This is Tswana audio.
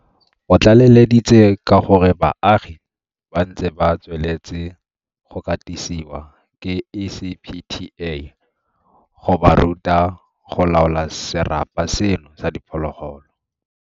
O tlaleleditse ka gore baagi ba ntse ba tsweletse go katisiwa ke ECPTA go ba ruta go laola serapa seno sa diphologolo.